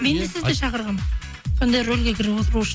мен де сізді шақырғанмын сондай рөлге кіріп отыру үшін